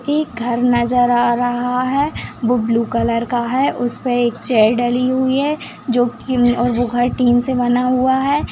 एक घर नजर आ रहा है वो ब्लू कलर का है उसपे एक चेयर डली हुई है जो की और वो घर टीन से बना हुआ है।